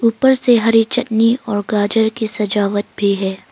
ऊपर से हरी चटनी और गाजर की सजावट भी है।